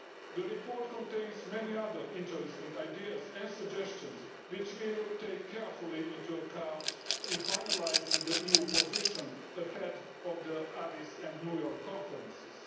IMF. The report contains many other interesting ideas and suggestions, which we will take carefully into account in finalising the EU position ahead of the Addis and New York conferences.